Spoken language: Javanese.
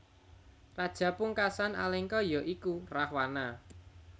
Raja pungkasan Alengka ya iku Rahwana